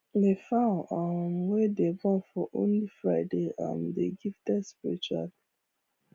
the fowl um wey dey born for only friday um dey gifted spiritual